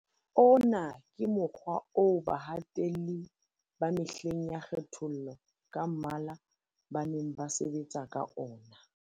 Ona ke mokgwa oo bahatelli ba mehleng ya kgethollo ka mmala ba neng ba sebetsa ka ona.